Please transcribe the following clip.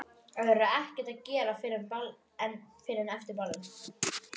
Það verður ekkert að gera fyrr en eftir ball.